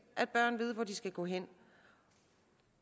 at børn ved hvor de skal gå hen